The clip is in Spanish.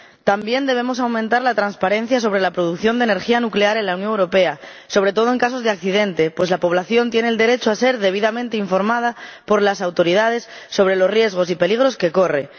También debemos aumentar la transparencia en relación con la producción de energía nuclear en la Unión Europea, sobre todo en casos de accidente, pues la población tiene el derecho a ser debidamente informada por las autoridades sobre los riesgos y peligros que corre.